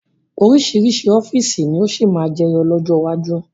Oríṣiríṣi ọ́fíìsì ni ó sì máa jẹyọ lọ́jọ́ iwájú